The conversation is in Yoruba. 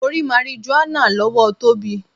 Mo rí marijuana lọ́wọ́ Tóbi.